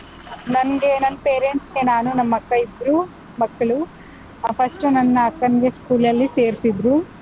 ನಂಗೆ ನನ್ parents ಗೆ ನಾನು ನಮ್ಮಕ್ಕ ಇಬ್ರು ಮಕ್ಳು, ಆ first ನನ್ನ ಅಕ್ಕನ್ಗೆ school ಅಲ್ಲಿ ಸೇರ್ಸಿದ್ರು.